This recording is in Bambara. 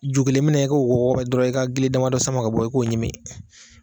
Ju kelen minɛ i k'o wo wɔrɔ dɔrɔn i ka gili damadɔ sama ka bɔ i k'o ɲimi